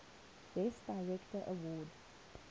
best director award